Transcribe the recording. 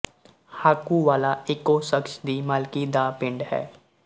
ਹਾਕੂ ਵਾਲਾ ਇਕੋ ਸ਼ਖ਼ਸ ਦੀ ਮਾਲਕੀ ਦਾ ਪਿੰਡ ਹੈ